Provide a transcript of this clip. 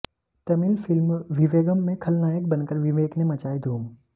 Tamil film Vivegam में खलनायक बनकर विवेक ने मचाई धूम